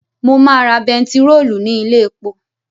Mo máa ra bentiróòlù ní ilé epo